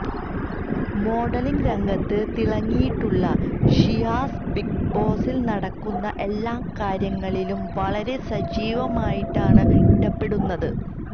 modelling രംഗത്ത് തിളങ്ങിയിട്ടുളള Shiyas big ബോസില് നടക്കുന്ന എല്ലാ കാര്യങ്ങളിലും വളരെ സജീവമായിട്ടാണ് ഇടപെടുന്നത്